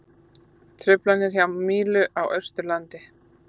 Truflanir hjá Mílu á Austurlandi